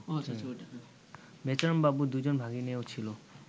বেচারামবাবুর দুই জন ভাগিনেয় ছিল